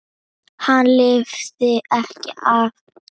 Hann lifði ekki af.